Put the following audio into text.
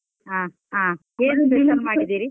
ಹ ಹ ಮಾಡಿದ್ದೀರಿ?